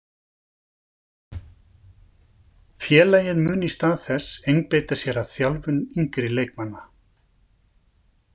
Félagið mun í stað þess einbeita sér að þjálfun yngri leikmanna.